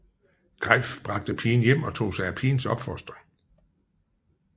Greif bragte pigen hjem og tog sig af pigens opfostring